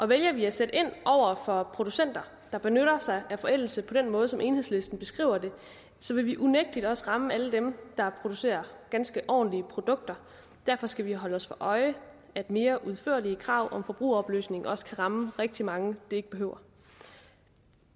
vælger vi at sætte ind over for producenter der benytter sig af forældelse på den måde som enhedslisten beskriver det så vil vi unægtelig også ramme alle dem der producerer ganske ordentlige produkter derfor skal vi holde os for øje at mere udførlige krav om forbrugeroplysning også kan ramme rigtig mange det ikke behøver